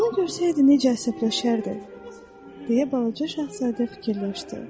O görsəydi necə əsəbləşərdi, deyə balaca şahzadə fikirləşdi.